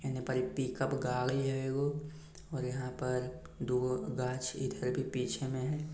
हीने पर एगो पिकअप गाड़ी हेय और यहाँ पर दू गो गाछ इधर भी पीछे में है।